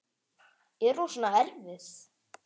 Er hún svona erfið?